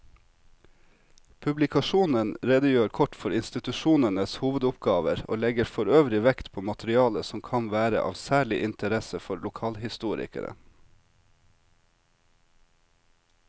Publikasjonen redegjør kort for institusjonenes hovedoppgaver og legger forøvrig vekt på materiale som kan være av særlig interesse for lokalhistorikere.